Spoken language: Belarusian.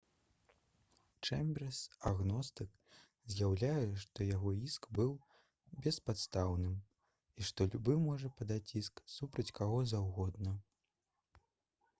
чэмберс агностык заяўляе што яго іск быў «беспадстаўным» і што «любы можа падаць іск супраць каго заўгодна»